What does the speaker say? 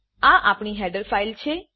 આ આપણી header file છે